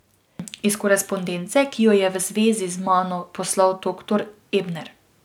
Iz korespondence, ki ji jo je v zvezi z mano poslal doktor Ebner.